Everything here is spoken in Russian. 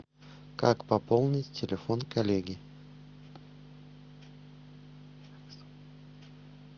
как пополнить телефон коллеги